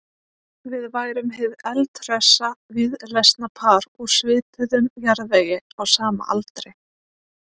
Við værum hið eldhressa víðlesna par úr svipuðum jarðvegi á sama aldri.